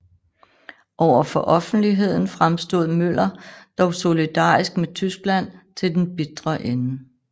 Over for offentligheden fremstod Møller dog solidarisk med Tyskland til den bitre ende